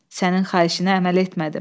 Sənin xahişinə əməl etmədim.